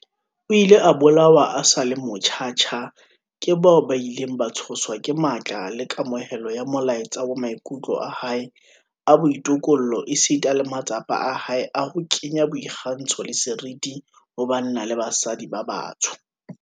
O ile a bolawa a sa le motjha tjha ke bao ba ileng ba tshoswa ke matla le kamohelo ya molaetsa wa maikutlo a hae a boitokollo esita le matsapa a hae a ho kenya boikgantsho le seriti ho banna le basadi ba batsho.